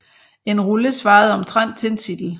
En rulle svarede omtrent til en titel